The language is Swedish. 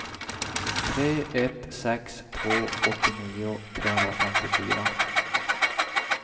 tre ett sex två åttionio trehundrafemtiofyra